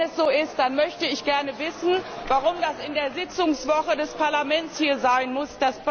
Wenn es so ist, dann möchte ich gerne wissen, warum das in der Sitzungswoche des Parlaments hier sein muss.